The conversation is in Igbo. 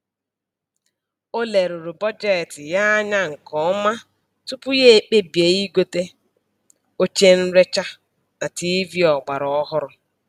O leruru bọjetị ya anya nke ọma tupu ya ekpebie igote oche nrecha na tiivii ọgbaraọhụrụ